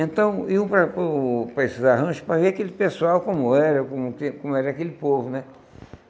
Então, iam para para o para esses arranjos para ver aquele pessoal, como era, como como era aquele povo, né?